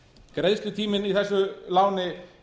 greiðslutíminn í þessu láni